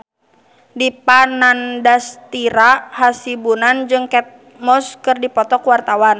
Dipa Nandastyra Hasibuan jeung Kate Moss keur dipoto ku wartawan